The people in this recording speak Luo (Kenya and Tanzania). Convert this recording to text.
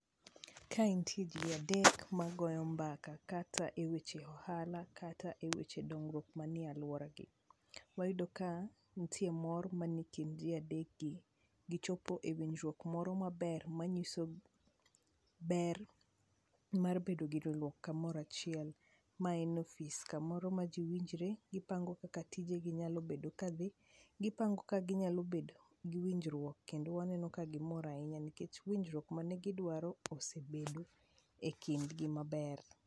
Kae nitie ji adek magoyo mbaka kata e weche ohala kata e weche dongruok manie alwaragi. Wayudo ka nitie mor maniekind ji adekgi, gichopo ewinjruok moro maber manyiso ber mar bedo giloruok kamorachiel. Maen ofis kamoro ma ji winjre, gipango kaka tijegi nyalo bedo ka dhi, gipango ka ginyalo bedo gi winjruok. Kendo waneno ka gimor ahinya nikech winjruok mane gidwaro osebedo e kindgi maber.